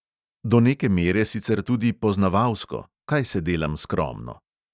Do neke mere sicer tudi poznavalsko, kaj se delam skromno!